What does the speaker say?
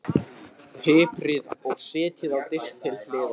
Piprið og setjið á disk til hliðar.